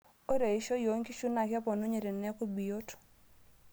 Ore eishioi onkishu naa keponunye teneaku biyot.